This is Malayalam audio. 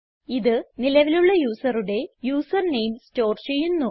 ഇത് നിലവിലുള്ള യൂസറുടെ യൂസർ നെയിം സ്റ്റോർ ചെയ്യുന്നു